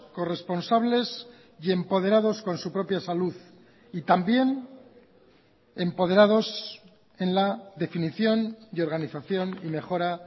corresponsables y empoderados con su propia salud y también empoderados en la definición y organización y mejora